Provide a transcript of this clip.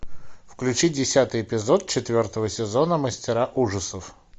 включи десятый эпизод четвертого сезона мастера ужасов